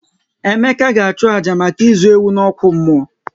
Emeka ga achu àjà maka ịzụ ewu n'okwu mmụọ